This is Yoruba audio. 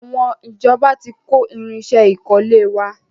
Àwọn ìjọba tí kó irinsẹ́ ìkọ́lé wa.